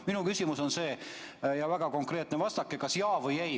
Minu küsimus on väga konkreetne, vastake jah või ei.